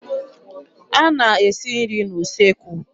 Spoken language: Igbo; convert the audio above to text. A na-esi nri n'usekwu.